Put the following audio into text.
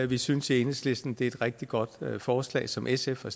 vi synes i enhedslisten det er et rigtig godt forslag som sf har